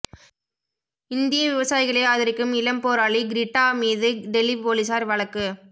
இந்திய விவசாயிகளை ஆதரிக்கும் இளம் போராளி கிரேட்டா மீது டெல்லி போலீசார் வழக்கு